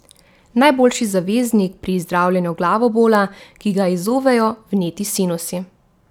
Najboljši zaveznik pri zdravljenju glavobola, ki ga izzovejo vneti sinusi.